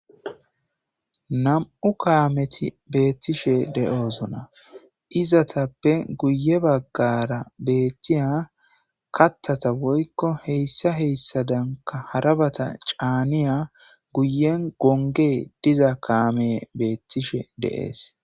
Nam'u kaameti beettishe de'oozona izatappe guye baggara beettiya kattata woykko heyssa heyssadanka harabata caaniya guyen gonge diza kaame beettishe deees